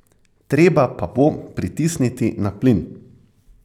Treba pa bo pritisniti na plin.